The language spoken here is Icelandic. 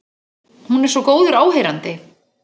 Hún er svo góður áheyrandi.